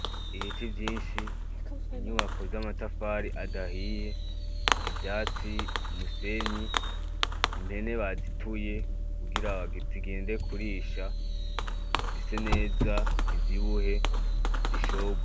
Ibiti vyinshi, inyubako z'amatafari adahiye, ivyatsi, umusenyi, impene bazituye kugira zigende kurisha ise neza ivyibuhe ishorwe.